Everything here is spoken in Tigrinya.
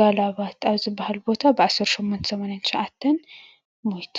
ጋላባት ኣብ ዝባሃል ቦታ ብ ዓሰርተ ሾሞንተ ሰማንያን ትሻዓተን (1889) ሞይቱ።